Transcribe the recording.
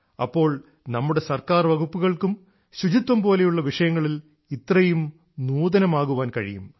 അപ്പോൾ നമ്മുടെ ഗവണ്മെന്റ് വകുപ്പുകൾക്കും ശുചിത്വംപോലുള്ള വിഷയങ്ങളിൽ ഇത്രയും നൂതനമാകാൻ കഴിയും